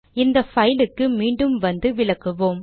இந்த பைலுக்கு மீண்டும் வந்து விளக்குவோம்